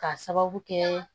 K'a sababu kɛ